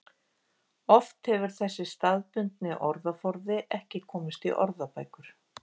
Oft hefur þessi staðbundni orðaforði ekki komist í orðabækur.